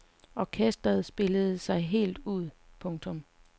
Orkestret spillede sig helt ud. punktum